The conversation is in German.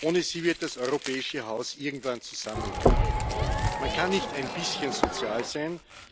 Ohne sie wird das europäische Haus irgendwann zusammenkrachen. Man kann nicht ein bisschen sozial sein.